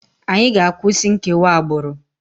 Anyị ga-akwụsị nkewa agbụrụ!